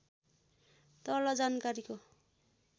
तल जानकारीको